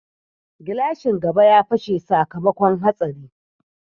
Glashin gaba ya fashe sakamakon hatsari.